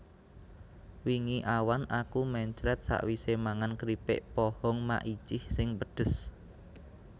Wingi awan aku mencret sakwise mangan kripik pohong Maicih sing pedhes